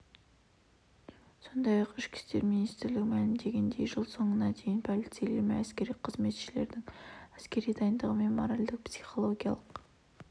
сондай-ақ ішкі істер министрі мәлімдегендей жыл соңына дейін полицейлер мен әскери қызметшілердің әскери дайындығы мен моральдық-психологиялық